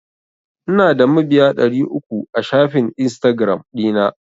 Ina da mabiya ɗari uku a shafin Instagiram ɗina.